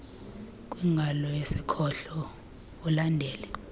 kwingalo yasekhohlo ulandele